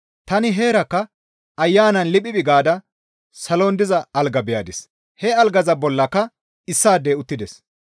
Tani heerakka Ayanan liphiphi gaada salon diza alga beyadis; he algaza bollaka issaadey uttides.